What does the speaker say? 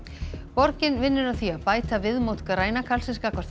borgin vinnur að því að bæta viðmót græna karlsins gagnvart